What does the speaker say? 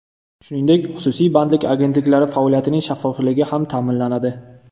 Shuningdek, xususiy bandlik agentliklari faoliyatining shaffofligi ham ta’minlanadi.